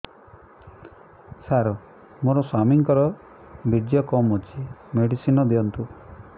ସାର ମୋର ସ୍ୱାମୀଙ୍କର ବୀର୍ଯ୍ୟ କମ ଅଛି ମେଡିସିନ ଦିଅନ୍ତୁ